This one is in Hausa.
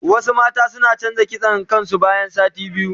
Wasu mata suna canza kitson kain su bayan sati biyu.